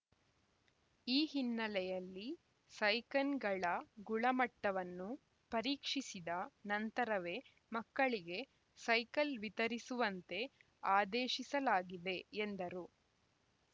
ಈ ಹಿನ್ನೆಲೆಯಲ್ಲಿ ಸೈಕನ್‌ಗಳ ಗುಳಮಟ್ಟವನ್ನು ಪರೀಕ್ಷಿಸಿದ ನಂತರವೇ ಮಕ್ಕಳಿಗೆ ಸೈಕಲ್‌ ವಿತರಿಸುವಂತೆ ಆದೇಶಿಸಲಾಗಿದೆ ಎಂದರು